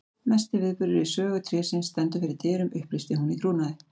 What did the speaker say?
Mesti viðburður í sögu trésins stendur fyrir dyrum upplýsti hún í trúnaði.